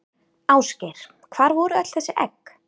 Ásgeir: Hvar voru öll þessi egg?